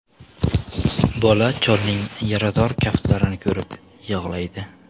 Bola cholning yarador kaftlarini ko‘rib yig‘laydi.